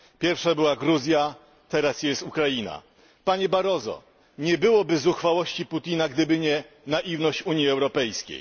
Pierwsza była Gruzja, teraz jest Ukraina. Panie komisarzu Barroso, nie byłoby zuchwałości Putina, gdyby nie naiwność Unii Europejskiej!